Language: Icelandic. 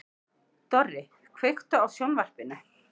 Dorri, kveiktu á sjónvarpinu.